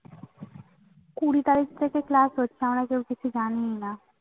কুড়ি তারিক থেকে Class হচ্ছে আমরা কেউ কিচ্ছু জানিইনা